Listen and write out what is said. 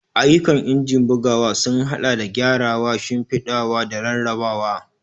Ayyukan injin bugawa sun haɗa da gyarawa, shimfiɗawa, da rarrabawa.